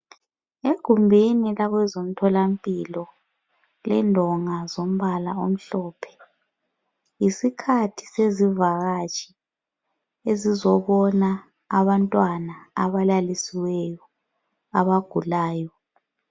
Egumbini labezemtholampilo lindonga elilombala omhlophe yisikhathi sesivakatshi ezizobona abantwana abalalisiweyo abagulayo.